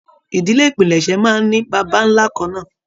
Ìdílé ìpilẹ̀ṣẹ̀ máa n ní bàbá nlá kànnà.